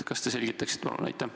Kas te selgitaksite, palun?